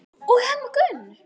og Hemma Gunn.